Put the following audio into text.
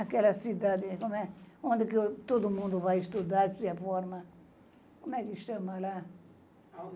Aquela cidade, como é?onde que todo mundo vai estudar, se forma... Como é que chama lá?